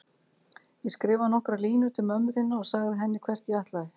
Ég skrifaði nokkrar línur til mömmu þinnar og sagði henni hvert ég ætlaði.